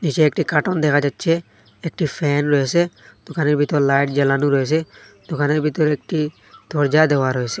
নীচে একটি কাটোন দেখা যাচ্ছে একটি ফ্যান রয়েছে দোকানের ভিতর লাইট জ্বালানো রয়েছে দোকানের ভিতর একটি দরজা দেওয়া রয়েছে।